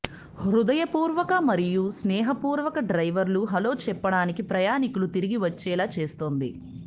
హృదయపూర్వక మరియు స్నేహపూర్వక డ్రైవర్లు హలో చెప్పడానికి ప్రయాణికులు తిరిగి వచ్చేలా చేస్తుంది